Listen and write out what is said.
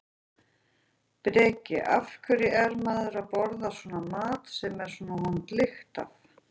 Breki: Af hverju er maður að borða svona mat sem er svona vond lykt af?